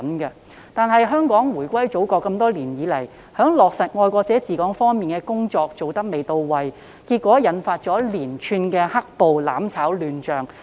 可惜，香港回歸祖國多年以來，在落實"愛國者治港"方面的工作做得未到位，結果引發連串"黑暴"、"攬炒"亂象。